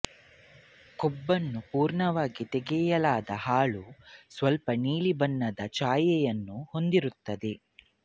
ಕೊಬ್ಬನ್ನು ಪೂರ್ಣವಾಗಿ ತೆಗೆಯಲಾದ ಹಾಲು ಸ್ವಲ್ಪ ನೀಲಿ ಬಣ್ಣದ ಛಾಯೆಯನ್ನು ಹೊಂದಿರುತ್ತದೆ